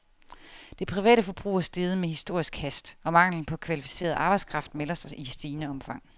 Det private forbrug er steget med historisk hast, og manglen på kvalificeret arbejdskraft melder sig i stigende omfang.